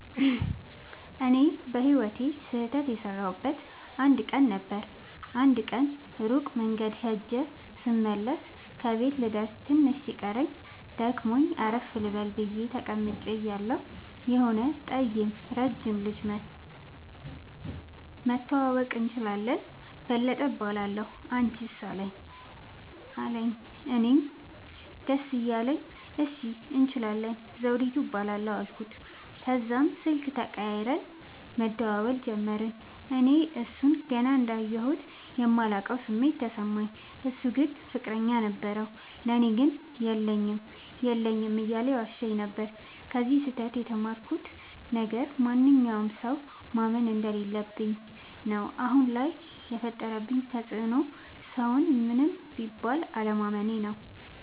እኔ በህይወቴ ስህተት የሠረውበት አንድ ቀን ነበር። አንድ ቀን ሩቅ መንገድ ኸጀ ስመለስ ከቤቴ ልደርስ ትንሽ ሲቀረኝ ደክሞኝ አረፍ ልበል ብየ ተቀምጨ እያለሁ የሆነ ጠይም ረጅም ልጅ መኧቶ<< መተዋወቅ እንችላለን በለጠ እባላለሁ አንችስ አለኝ>> አለኝ። እኔም ደስ እያለኝ እሺ እንችላለን ዘዉዲቱ እባላለሁ አልኩት። ተዛም ስልክ ተቀያይረን መደዋወል ጀመርን። እኔ እሡን ገና እንዳየሁት የማላቀዉ ስሜት ተሰማኝ። እሡ ግን ፍቅረኛ ነበረዉ። ለኔ ግን የለኝም የለኝም እያለ ይዋሸኝ ነበር። ከዚ ስህተ ት የተማርኩት ነገር ማንኛዉንም ሠዉ ማመን እንደለለብኝ ነዉ። አሁን ላይ የፈጠረብኝ ተፅዕኖ ሠዉን ምንም ቢል አለማመኔ ነዉ።